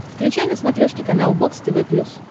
включай на смотрешке канал бокс тв плюс